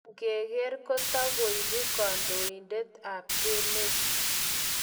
Inkeker ,kotokoibu kondoidet ab emet.